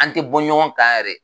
An te bɔ ɲɔgɔn kan yɛrɛ